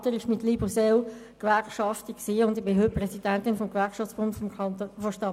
Mein Vater war mit Leib und Seele Gewerkschafter, und ich bin heute Präsidentin des Gewerkschaftsbundes der Stadt Bern.